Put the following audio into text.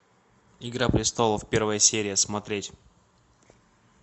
игра престолов первая серия смотреть